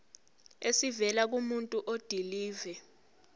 esivela kumuntu odilive